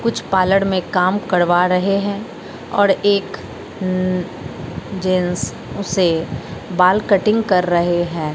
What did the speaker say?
कुछ पालड़ में काम करवा रहे हैं और एक उम्म जेंस उसे बाल कटिंग कर रहे हैं।